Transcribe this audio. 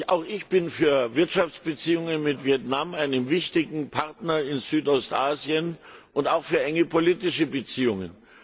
Auch ich bin für Wirtschaftsbeziehungen mit Vietnam, einem wichtigen Partner in Südostasien, und auch für enge politische Beziehungen.